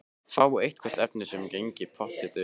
Fá eitthvert efni sem gengi pottþétt upp.